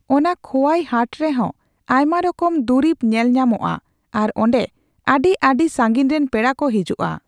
ᱚᱱᱟ ᱠᱷᱚᱣᱟᱭ ᱦᱟᱴᱨᱮᱦᱚᱸ ᱟᱭᱢᱟᱨᱚᱠᱚᱢ ᱫᱩᱨᱤᱵ ᱧᱮᱞᱧᱟᱢᱚᱜᱼᱟ ᱟᱨ ᱚᱸᱰᱮ ᱟᱹᱰᱤ ᱟᱹᱰᱤ ᱥᱟᱺᱜᱤᱧᱨᱮᱱ ᱯᱮᱲᱟᱠᱚ ᱦᱤᱡᱩᱜᱼᱟ